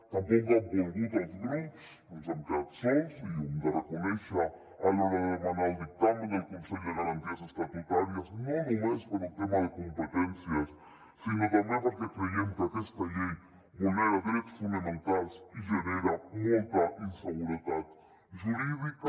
tampoc ho han volgut els grups ens hem quedat sols i ho hem de reconèixer a l’hora de demanar el dictamen del consell de garanties estatutàries no només per un tema de competències sinó també perquè creiem que aquesta llei vulnera drets fonamentals i genera molta inseguretat jurídica